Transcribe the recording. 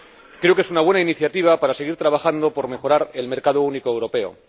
Creo que es una buena iniciativa para seguir trabajando por mejorar el mercado único europeo.